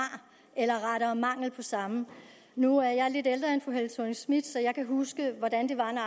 eller rettere mangelen på samme nu er jeg lidt ældre end fru helle thorning schmidt så jeg kan huske hvordan det var når